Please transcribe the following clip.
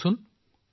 নমস্কাৰ মহোদয়